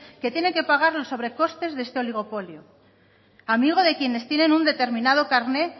que tiene que pagar los sobrecostes de este oligopolio amigo de quienes tienen un determinado carnet